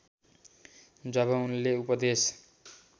जब उनले उपदेश